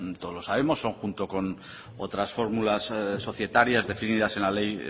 todos lo sabemos son junto con otras fórmulas societarias definidas en la ley